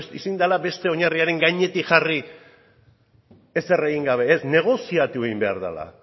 ezin dela beste oinarriaren gainetik jarri ezer egin gabe ez negoziatu egin behar dela